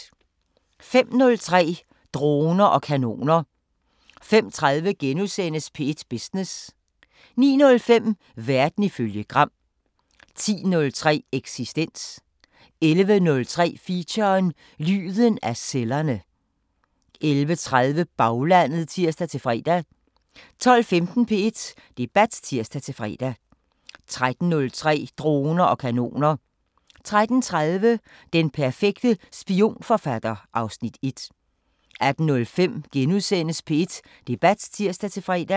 05:03: Droner og kanoner 05:30: P1 Business * 09:05: Verden ifølge Gram 10:03: Eksistens 11:03: Feature: Lyden af cellerne 11:30: Baglandet (tir-fre) 12:15: P1 Debat (tir-fre) 13:03: Droner og kanoner 13:30: Den perfekte spionforfatter (Afs. 1) 18:05: P1 Debat *(tir-fre)